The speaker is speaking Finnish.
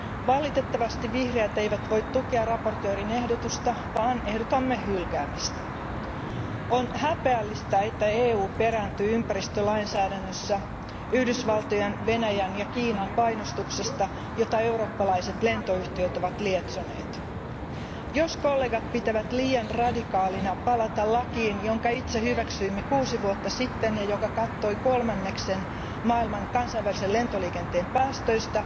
Valitettavasti vihreät eivät voi tukea esittelijän ehdotusta vaan ehdotamme hylkäämistä. On häpeällistä, että EU perääntyy ympäristölainsäädännössä Yhdysvaltojen, Venäjän ja Kiinan painostuksesta, jota eurooppalaiset lentoyhtiöt ovat lietsoneet. Jos kollegat pitävät liian radikaalina palata lakiin, jonka itse hyväksyimme kuusi vuotta sitten ja joka kattoi kolmanneksen maailman kansainvälisen lentoliikenteen päästöistä,